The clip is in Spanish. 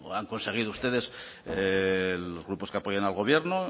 han conseguido ustedes los grupos que apoyan al gobierno